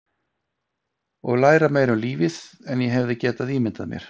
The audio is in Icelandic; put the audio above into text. Og læra meira um lífið en ég hefði getað ímyndað mér.